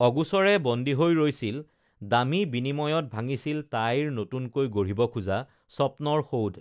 অগোচৰে বন্দী হৈ ৰৈছিল দামী বিনিময়ত ভাঙিছিল তাইৰ নতুনকৈ গঢ়িব খোজা স্বপ্নৰ সৌধ